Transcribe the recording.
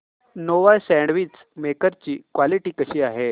Nova sandwich maker ची quality कशी आहे